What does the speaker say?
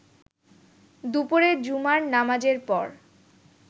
দুপুরে জুমার নামাজের পর